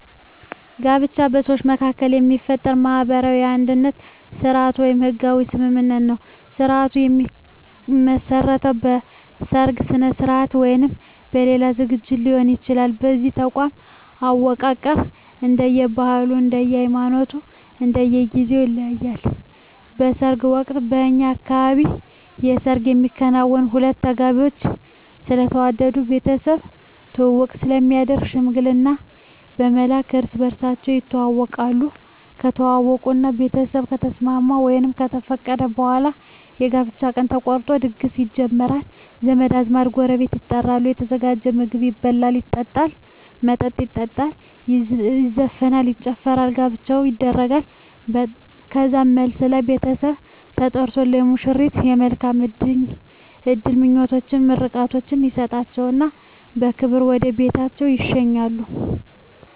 ጋብቻ በሰዎች መካከል የሚፈጠር ማህበራዊ የአንድነት ስርአት ወይም ህጋዊ ስምምነት ነዉ ስርአቱ የሚመሰረተዉ በሰርግ ስርአት ወይም በሌላ ዝግጅት ሊሆን ይችላል የዚህ ተቋም አወቃቀር እንደየ ባህሉ እንደየ ሃይማኖቱ እና እንደየ ጊዜዉ ይለያያል በሰርግ ወቅት በእኛ አካባቢ የሰርግ የሚከናወነዉ ሁለቱ ተጋቢዎች ስለተዋደዱ ቤተሰብ ትዉዉቅ ስለሚያስፈልግ ሽምግልና በመላክ እርስ በርሳቸዉ ይተዋወቃሉ ከተዋወቁእና ቤተሰብ ከተስማሙ ወይም ከፈቀዱ በኋላ የጋብቻ ቀን ተቆርጦ ድግስ ይጀመራል ዘመድ አዝማድ ጎረቤት ይጠሩና የተዘጋጀዉን ምግብ ይበላሉ መጠጥ ይጠጣሉ ይዘፈናል ይጨፈራል ጋብቻዉ ይደረጋል ከዛም መልስ ላይ ቤተሰብ ተጠርቆ ለሙሽሮች የመልካም እድል ምኞታቸዉን ምርቃታቸዉን ይሰጧቸዉና በክብር ወደ ቤታቸዉ ይሸኛሉ